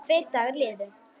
Tveir dagar liðu.